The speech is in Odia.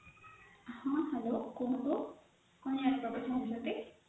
ହଁ hello କୁହନ୍ତୁ କଣ ଜାଣିବାକୁ ଚାହୁଞ୍ଚନ୍ତି